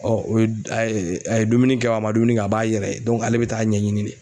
o ye a ye dumuni kɛ a man dumuni kɛ a b'a yɛrɛ ye ale bɛ taa ɲɛɲini de.